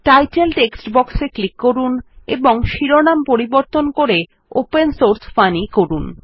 title text box এ click করুন এবং শিরোনাম পরিবর্তন করে ওপেন সোর্স ফানি করুন